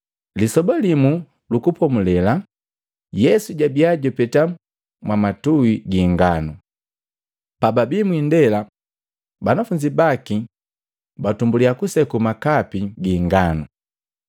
Lisoba limu Lukupomulela, Yesu jabia jupeta mwamatui gi inganu. Pababii mwindela, banafunzi baki batumbulya kuseku makapati gi inganu.